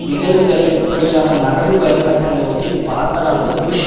நிகழ்வுகளை இப்படியான மரபுவழிப்பட்ட நோக்கில் பார்ப்பதானது புஷ்